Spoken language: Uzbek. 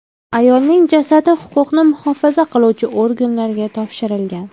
Ayolning jasadi huquqni muhofaza qiluvchi organlarga topshirilgan.